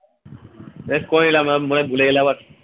বেশ করে নিলাম আমি মনে হয় ভুলে গেলে আবার